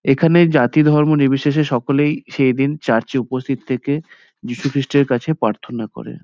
এখানে জাতি ধর্ম নির্বিশেষ সকলেই সেই দিন চার্চ -এ উপস্থিত থেকে যীশুখ্রিষ্টের কাছে প্রার্থনা করে।